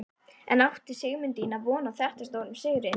En átti Sigmundína von á þetta stórum sigri?